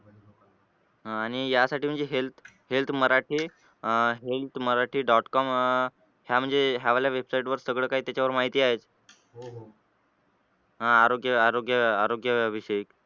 अह आणि यासाठी म्हणजे health health मराठी अह health मराठी . com अह म्हणजे ह्या वाल्या website वर त्याच्यावर सगळं काही माहिती आहे. आरोग्य आरोग्य आरोग्य विषयक.